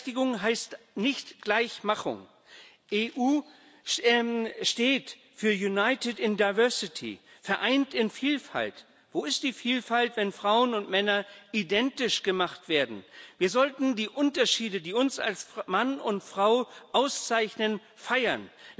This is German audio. Gleichberechtigung heißt nicht Gleichmachung. EU steht für United in Diversity in Vielfalt geeint. Wo ist die Vielfalt, wenn Frauen und Männer identisch gemacht werden? Wir sollten die Unterschiede, die uns als Mann und Frau auszeichnen, feiern.